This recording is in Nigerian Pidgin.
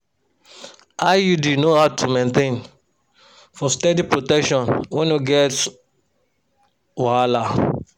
iud no hard to maintain for steady protection wey no get um wahala.